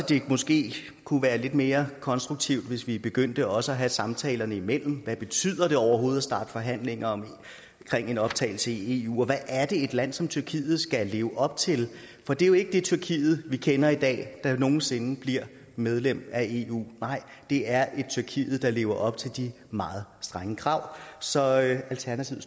det måske kunne være lidt mere konstruktivt hvis vi begyndte også at have samtalerne indimellem hvad betyder det overhovedet at starte forhandlinger om en optagelse i eu og hvad er det et land som tyrkiet skal leve op til for det er jo ikke det tyrkiet vi kender i dag der nogen sinde bliver medlem af eu nej det er et tyrkiet der lever op til de meget strenge krav så alternativet